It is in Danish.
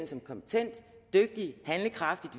som kompetent dygtig handlekraftig